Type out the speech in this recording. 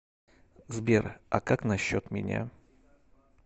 сбер а как насчет меня